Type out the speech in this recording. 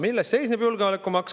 Milles seisneb julgeolekumaks?